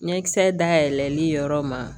Ɲɛkisɛ dayɛlɛli yɔrɔ ma